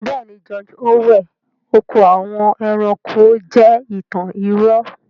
Bẹ́ẹ̀ni, 'George orwell' oko àwọn ẹranko(animal farm) jẹ́ ìtàn irọ́